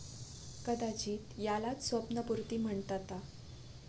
कदाचित यालाच स्वप्नपुर्ती म्हणताता.